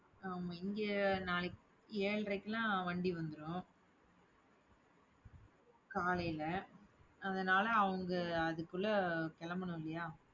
ஆமா இங்க நாளைக்கு ஏழரைக்கெல்லாம் வண்டி வந்துடும். காலையில, அதனால அவங்க அதுக்குள்ள கிளம்பணும் இல்லையா